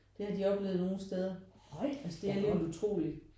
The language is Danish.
Det har de oplevet nogen steder altså det er alligevel utroligt